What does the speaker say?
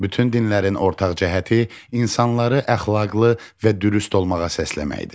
Bütün dinlərin ortaq cəhəti insanları əxlaqlı və dürüst olmağa səsləməkdir.